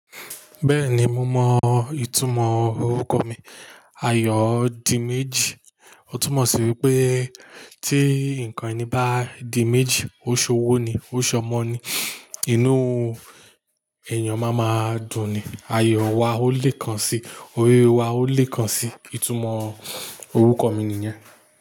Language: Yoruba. Bẹ́ẹ̀ni mo mọ ìtumọ̀ orúkọ mi. Ayọ̀díméjì. Ó túmọ̀ sí wípé tí ǹkan ẹni bá di méjì, ó ṣowó ni, ó ṣọmọ ni, inú èèyàn máa máa dùn ni. Ayọ̀ wa ó lè kan si, ore wa ó lè kan si. Ìtumọ̀ orúkọ mi nìyẹn.